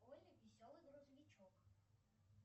олли веселый грузовичок